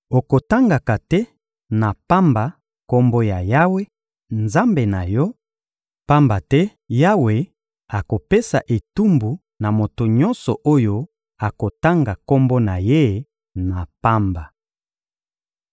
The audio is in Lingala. Okotangaka te na pamba Kombo ya Yawe, Nzambe na yo, pamba te Yawe akopesa etumbu na moto nyonso oyo akotanga Kombo na Ye na pamba.